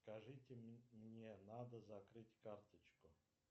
скажите мне надо закрыть карточку